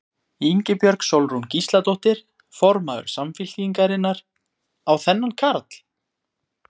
Ingibjörg Sólrún Gísladóttir, formaður Samfylkingarinnar: Á þennan karl?